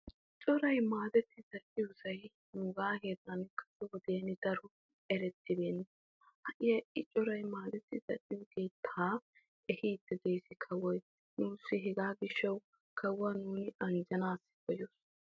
Coray maadetti zal'iyosay nuuga heeran keehippe erettibeenashin ha'i kawoy aassidde de'ees. Hegaa gishawu kawuwa nu anjjanna koshees.